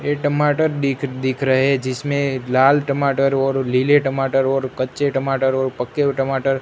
ये टमाटर दिख दिख रहे जिसमें लाल टमाटर और नीले टमाटर और कच्चे टमाटर और पक्के हुए टमाटर--